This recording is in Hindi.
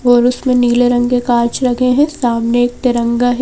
और उसमें नीले रंग के कांच लगे हैं सामने एक तिरंगा है।